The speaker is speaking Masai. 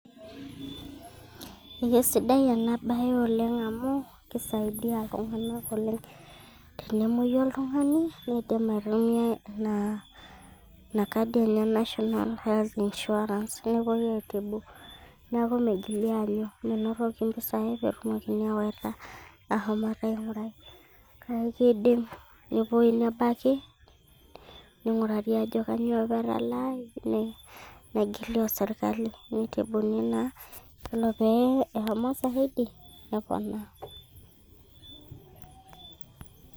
Ekesidai ena baye oleng amu keisidai iltung'anak oleng tenemoyu oltung'ani indiim aitumiya ina kadi e national health insurance neponu aitibu neeku meigili aanyu menotoki impisai peetumoki aawaita aasomoki aing'urai neeku kake keiidim nepuoi nebaki ning'urari aajo kanyioo apa etalaaki negili orserkali neitibuni naa ore pee eshomo Zaidi neponaa